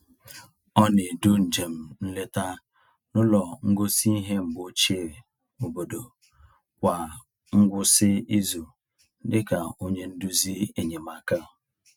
Ọ na-edu njem nleta n’ụlọ ngosi ihe mgbe ochie obodo kwa ngwụsị izu dị ka onye nduzi enyemaka.